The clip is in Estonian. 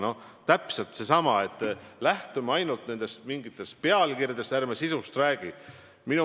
Noh, see on täpselt seesama, kui me lähtume ainult mingitest pealkirjadest ja sisust ei räägi.